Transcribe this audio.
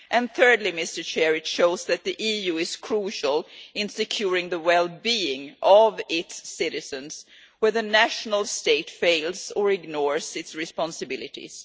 Thirdly, it shows that the EU is crucial in securing the wellbeing of its citizens where the nation state fails or ignores its responsibilities.